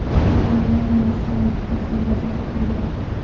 mahalla raisi vazifasini bajarib turgan.